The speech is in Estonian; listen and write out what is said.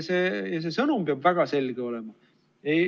See sõnum peab väga selge olema.